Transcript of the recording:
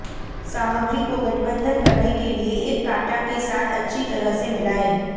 सामग्री को गठबंधन करने के लिए एक कांटा के साथ अच्छी तरह से मिलाएं